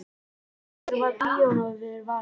Af hverju varð píanóið fyrir valinu?